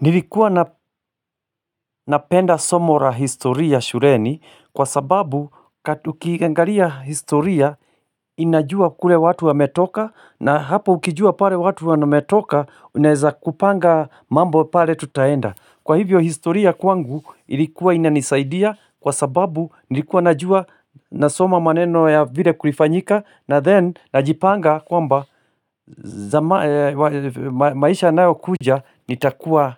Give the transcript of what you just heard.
Nilikuwa napenda somo la historia shuleni kwa sababu kati ukiangalia historia inajua kule watu wametoka na hapa ukijua pale watu wametoka unaeza kupanga mambo pale tutaenda. Kwa hivyo historia kwangu ilikuwa inanisaidia kwa sababu nilikuwa najua nasoma maneno ya vile kulifanyika na then najipanga kwamba maisha yanayokuja